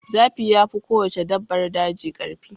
Zaki yafi kowace dabbar daji karfi.